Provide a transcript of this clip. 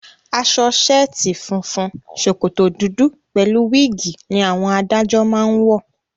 Aṣọ ṣẹ̀ẹ́tì funfun, ṣòkòtò dúdú pẹ̀lú wíìgì ni àwọn adájọ́ máá ń wọ